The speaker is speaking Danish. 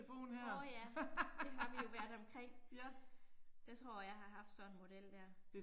Åh ja, det har vi jo været omkring. Jeg tror jeg har haft sådan en model der